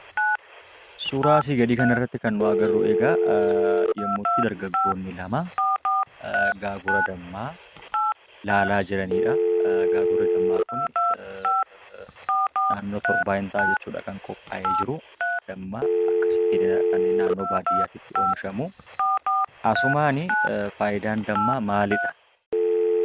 Suuraa asii gadii irratti kan agarru egaa yemmuutti dargaggoonni lama gaagura dammaa ilaalaa jiraniidha. Gaagurri dammaa kun naannoo torbaa ni ta'a jechuudha kan qophaa'ee jiru. Dammi akkasittiidha inni naannoo baadiyyaatti kan oomishamu. Asumaani faayidaan dammaa maalidha?